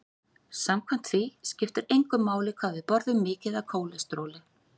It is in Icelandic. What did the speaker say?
Samkvæmt því skipti engu máli hvað við borðum mikið af kólesteróli.